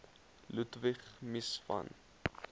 ludwig mies van